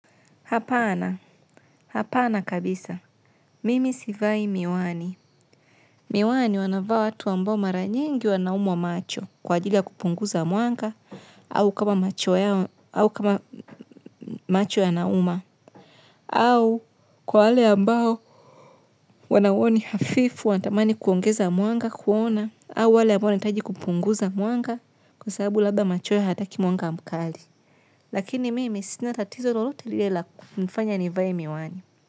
Hapana, hapana kabisa. Mimi sivai miwani. Miwani wanavaa watu ambao mara nyingi wanaumwa macho kwa ajili ya kupunguza mwanga au kama macho au kama macho yanauma au kwa wale ambao wanauoni hafifu, wanatamani kuongeza mwanga kuona au wale ambao wanahitaji kupunguza mwanga kwa sababu labda macho yao hataki mwanga mkali. Lakini mimi sinatatizo lolote lile la kunifanya nivae miwani.